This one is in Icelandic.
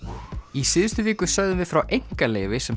í síðustu viku sögðum við frá einkaleyfi sem